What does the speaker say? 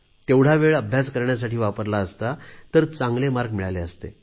तेवढा वेळ अभ्यास करण्यासाठी वापरला असता तर चांगले गुण मिळाले असते